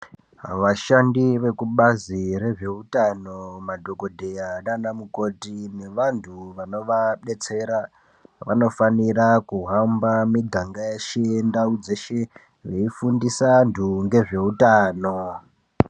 Vashandi vekubazi rezveutano madhongodheya nanamukoti nevantu vano vabetsera , vanofanire kuhamba muganga yeshe yendau yeshe veifundise vantu nezveutano.